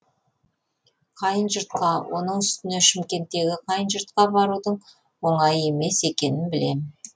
қайын жұртқа оның үстіне шымкенттегі қайын жұртқа барудың оңай емес екенін білем